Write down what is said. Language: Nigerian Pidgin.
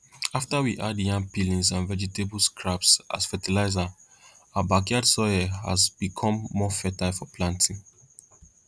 after we add yam peelings and vegetable scraps as fertilizer our backyard soil has has become more fertile for planting